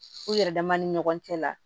U yɛrɛ dama ni ɲɔgɔn cɛ la